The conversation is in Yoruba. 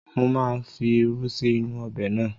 Mo máa fi irú sí inú-u ọbẹ̀ náà